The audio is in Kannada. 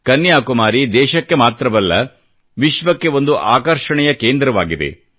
ಕನ್ಯಾಕುಮಾರಿ ದೇಶಕ್ಕೆ ಮಾತ್ರವಲ್ಲ ವಿಶ್ವಕ್ಕೆ ಒಂದು ಆಕರ್ಷಣೆಯ ಕೇಂದ್ರವಾಗಿದೆ